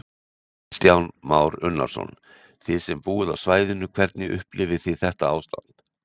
Kristján Már Unnarsson: Þið sem búið á svæðinu, hvernig upplifið þið þetta ástand?